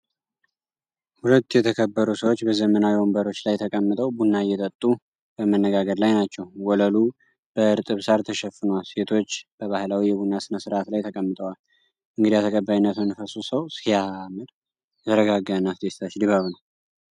ሁለት የተከበሩ ሰዎች በዘመናዊ ወንበሮች ላይ ተቀምጠው ቡና እየጠጡ በመነጋገር ላይ ናቸው። ወለሉ በእርጥብ ሣር ተሸፍኗል፤ ሴቶችም በባህላዊ የቡና ሥነ-ሥርዓት ላይ ተቀምጠዋል። የእንግዳ ተቀባይነት መንፈሱ 'ዋው ሲያምር' ። የተረጋጋ እና አስደሳች ድባብ ነው!!።